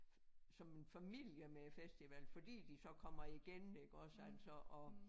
Som en familie med æ festival fordi de så kommer igen iggås altså og